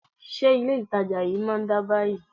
Ṣé ilé itàjà yìí má ń dá báyìí?